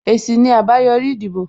Èsì ni àbáyòrí ìdìbò